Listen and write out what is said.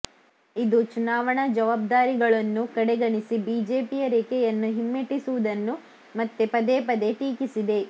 ಇದು ಚುನಾವಣಾ ಜವಾಬ್ದಾರಿಗಳನ್ನು ಕಡೆಗಣಿಸಿ ಬಿಜೆಪಿಯ ರೇಖೆಯನ್ನು ಹಿಮ್ಮೆಟ್ಟಿಸುವುದನ್ನು ಮತ್ತೆ ಪದೇ ಪದೇ ಟೀಕಿಸಿದೆ